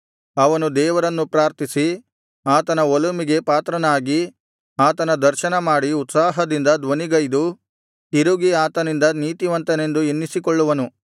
ಅವನು ದೇವರನ್ನು ಪ್ರಾರ್ಥಿಸಿ ಆತನ ಒಲುಮೆಗೆ ಪಾತ್ರನಾಗಿ ಆತನ ದರ್ಶನ ಮಾಡಿ ಉತ್ಸಾಹದಿಂದ ಧ್ವನಿಗೈದು ತಿರುಗಿ ಆತನಿಂದ ನೀತಿವಂತನೆಂದು ಎನ್ನಿಸಿಕೊಳ್ಳುವನು